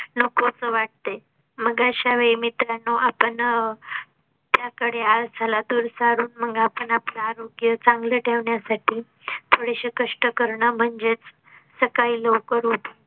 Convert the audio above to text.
नकोस वाटते. मग अशा वेळी मित्रांना आपण अह त्याकडे आळसाला दूर सारून मग आपण आपलं आरोग्य चांगलं ठेवण्या साठी थोडेसे कष्ट करणं म्हणजेच सकाळी लवकर